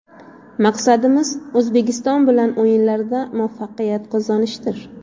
Maqsadimiz O‘zbekiston bilan o‘yinlarda muvaffaqiyat qozonishdir.